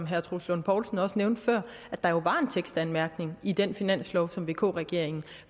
herre troels lund poulsen også nævnte før at der jo var en tekstanmærkning i den finanslov som vk regeringen